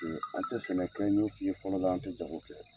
Ee an tɛ sɛnɛ fɛn ɲɛ sigi fɔlɔ la, an tɛ jago kɛ !